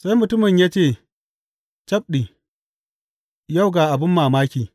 Sai mutumin ya ce, Cabɗi, yau ga abin mamaki!